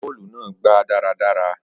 Agbá bọ́ọ̀lù náà gba daradara